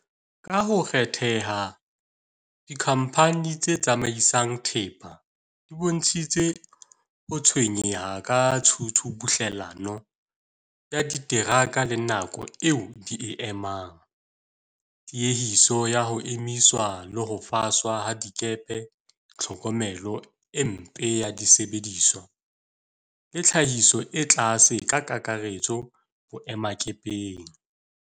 Ka ho kgetheha, dikhamphani tse tsamaisang thepa di bontshitse ho tshwenyeha ka tshubuhlellano ya diteraka le nako eo di e emang, tiehiso ya ho emiswa le ho faswa ha dikepe, tlhokomelo e mpe ya disebediswa le tlhahiso e tlase ka kakaretso boemakepeng.